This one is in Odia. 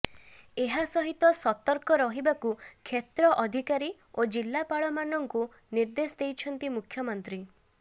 ଏହା ସହିତ ସତର୍କ ରହିବାକୁ କ୍ଷେତ୍ର ଅଧିକାରୀ ଓ ଜିଲ୍ଲାପାଳମାନଙ୍କୁ ନିର୍ଦ୍ଦେଶ ଦେଇଛନ୍ତି ମୁଖ୍ୟମନ୍ତ୍ରୀ